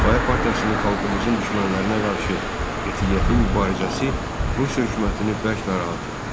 Difai partiyasının xalqımızın düşmənlərinə qarşı qətiyyətli mübarizəsi Rusiya hökumətini bərk narahat etdi.